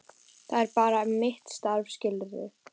Það er bara mitt starf, skilurðu.